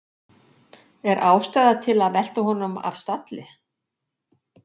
Er ástæða til að velta honum af stalli?